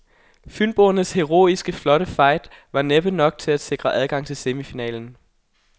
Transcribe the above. Fynboernes heroiske fight var flot, men næppe nok til at sikre adgang til semifinalen.